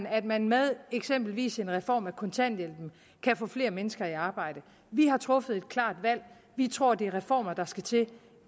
at man med eksempelvis en reform af kontanthjælpen kan få flere mennesker i arbejde vi har truffet et klart valg vi tror at det er reformer der skal til